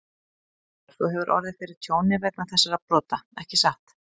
Ólafur, þú hefur orðið fyrir tjóni vegna þessara brota, ekki satt?